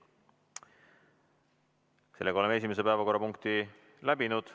Sellega oleme esimese päevakorrapunkti läbinud.